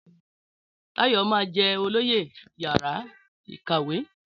Táyọ̀ máa jẹ olóyè yàrá ìkàwé